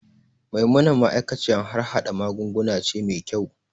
Maimuna ma'aikaciyar harhada magunguna ce mai kyau.